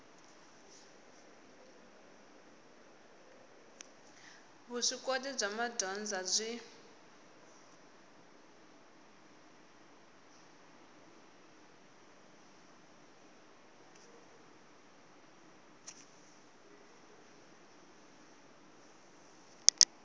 vuswikoti bya madyondza byi